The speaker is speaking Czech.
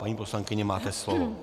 Paní poslankyně, máte slovo.